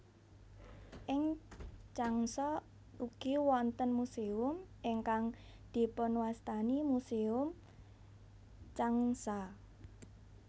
Ing Changsha ugi wonten muséum ingkang dipunwastani Museum Changsha